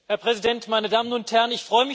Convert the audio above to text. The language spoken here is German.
Herr Präsident, meine Damen und Herren!